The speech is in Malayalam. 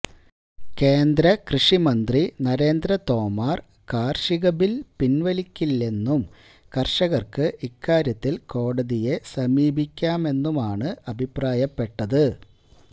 കേന്ദ്രകൃഷി മന്ത്രി നരേന്ദ്ര തോമാര് കാര്ഷിക ബില് പിന്വലിക്കില്ലെന്നും കര്ഷകര്ക്ക് ഇക്കാര്യത്തില് കോടതിയെ സമീപിക്കാമെന്നുമാണ് അഭിപ്രായപ്പെട്ടത്